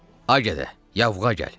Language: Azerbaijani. Ay gədə, yavğa gəl.